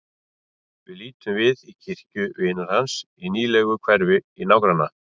Við lítum við í kirkju vinar hans í nýlegu hverfi í nágranna